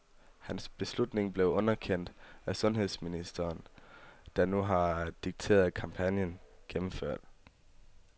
Hans beslutning blev underkendt af sundhedsministeren, der nu har dikteret kampagnen gennemført.